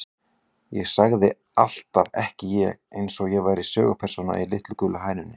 Ég sagði alltaf ekki ég, eins og ég væri sögupersóna í Litlu gulu hænunni.